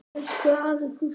Elsku afi Gústi.